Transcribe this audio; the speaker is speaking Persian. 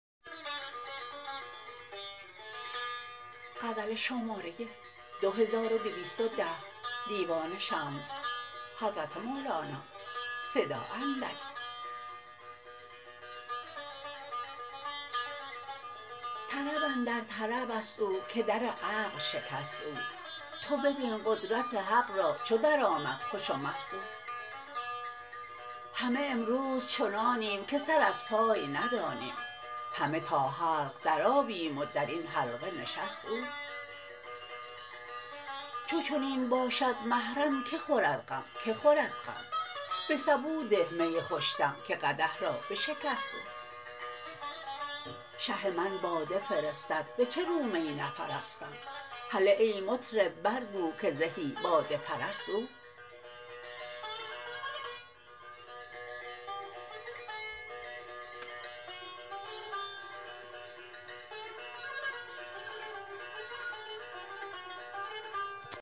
طرب اندر طرب است او که در عقل شکست او تو ببین قدرت حق را چو درآمد خوش و مست او همه امروز چنانیم که سر از پای ندانیم همه تا حلق درآییم و در این حلقه نشست او چو چنین باشد محرم کی خورد غم کی خورد غم به سبو ده می خوش دم که قدح را بشکست او شه من باده فرستد به چه رو می نپرستم هله ای مطرب برگو که زهی باده پرست او